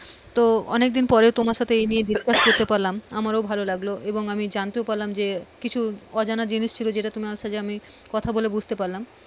তো অনেকদিন পরে তোমার সাথে এই নিয়ে discuss করতে পারলাম। আমারও ভালো লাগলো এবং আমি জানতেও পারলাম যে কিছু অজানা জিনিস ছিল তোমার সাথে আমি কথা বলে বুঝতে পারলাম।